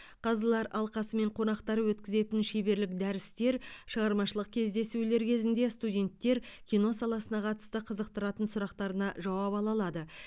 қазылар алқасы мен қонақтары өткізетін шеберлік дәрістер шығармашылық кездесулер кезінде студенттер кино саласына қатысты қызықтыратын сұрақтарына жауап ала алады